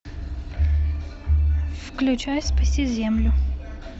включай спаси землю